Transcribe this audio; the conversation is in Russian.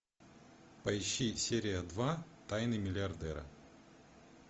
поищи серия два тайны миллиардера